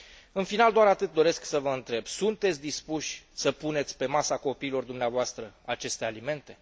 În final, doar atât doresc să vă întreb sunteți dispuși să puneți pe masa copiilor dumneavoastră aceste alimente?